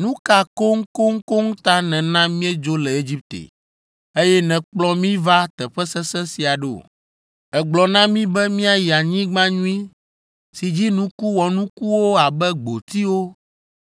Nu ka koŋkoŋkoŋ ta nèna míedzo le Egipte, eye nèkplɔ mí va teƒe sesẽ sia ɖo? Ègblɔ na mí be míayi anyigba nyui si dzi nuku wɔnukuwo abe gbotiwo,